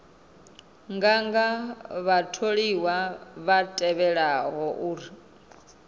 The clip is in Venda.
nganga vhatholiwa vha tevhelaho u